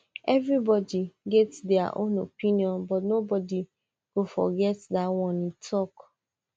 everybody get dia own opinion but nobody go forget dat one e tok